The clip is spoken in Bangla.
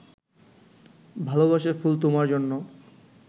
ভালবাসার ফুল তোমার জন্য